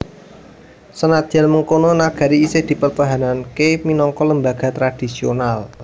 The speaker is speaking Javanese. Senadyan mangkono nagari isih dipertahanaké minangka lembaga tradisional